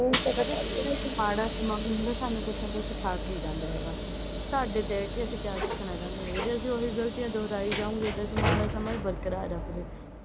ਕਹਿੰਦੇ ਮਾੜਾ ਸਮਾਂ ਵੀ ਹੁੰਦਾ ਸਾਨੂੰ ਕੁੱਛ ਨਾ ਕੁੱਛ ਸਿਖਾ ਕੇ ਜਾਂਦਾ ਹੈਗਾ। ਸਾਡੇ ਤੇ ਆ ਕਿ ਅਸੀਂ ਕਿਆ ਸਿੱਖਣਾ ਚਾਹੁੰਦੇ ਆ ਜੇਕਰ ਅਸੀਂ ਉਹੀ ਗਲਤੀਆਂ ਦੁਹਰਾਈ ਜਾਵਾਂਗੇ ਤਾਂ ਅਸੀਂ ਮਾੜਾ ਸਮਾਂ ਈ ਬਰਕਾਰ ਰੱਖਦੇ ਆਂ।